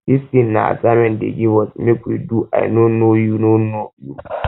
dis thing na assignment dey give us make we do i no know you know you